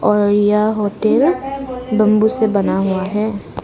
और यह hotel bamboo से बना हुआ है।